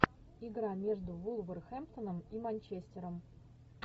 игра между вулверхэмптоном и манчестером